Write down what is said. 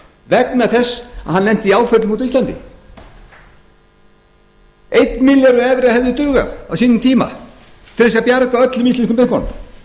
vegna þess að hann lenti í áföllum úti á íslandi einn milljarður evra hefði dugað á sínum tíma til þess að bjarga öllum íslensku bönkunum